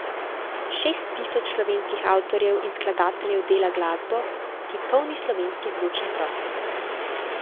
Šest tisoč slovenskih avtorjev in skladateljev dela glasbo, ki polni slovenski zvočni prostor.